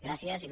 gràcies il